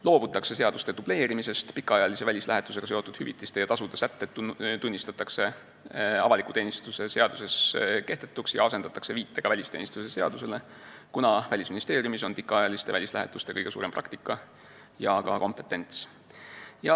Loobutakse seaduste dubleerimisest, pikaajalise välislähetusega seotud hüvitiste ja tasude sätted tunnistatakse avaliku teenistuse seaduses kehtetuks ja asendatakse viitega välisteenistuse seadusele, kuna Välisministeeriumis on kõige suurem pikaajaliste välislähetuste praktika ja ka kompetentsus.